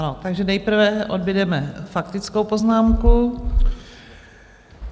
Ano, takže nejprve odbudeme faktickou poznámku.